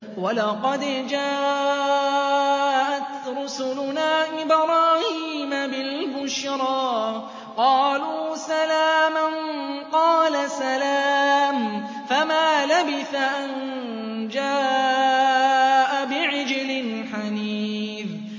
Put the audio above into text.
وَلَقَدْ جَاءَتْ رُسُلُنَا إِبْرَاهِيمَ بِالْبُشْرَىٰ قَالُوا سَلَامًا ۖ قَالَ سَلَامٌ ۖ فَمَا لَبِثَ أَن جَاءَ بِعِجْلٍ حَنِيذٍ